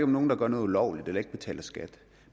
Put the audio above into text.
nogen der gør noget ulovligt eller ikke betaler skat